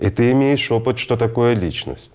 и ты имеешь опыт что такое личность